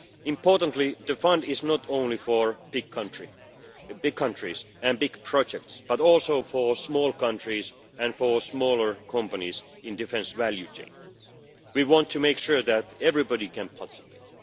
Importantly, the fund is not only for big countries and big projects, but also for small countries and for smaller companies in the defence value chain. We want to make sure that everybody can participate.